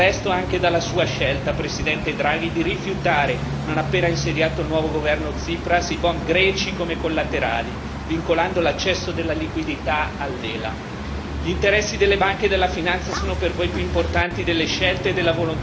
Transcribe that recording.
Che voi abbiate ucciso la democrazia proprio nel paese che l'ha creata è dimostrato, del resto, anche dalla sua scelta, Presidente Draghi, di rifiutare non appena insediato, il nuovo governo Tsipras, i bond greci come collaterali, vincolando l'accesso della liquidità all'ELA.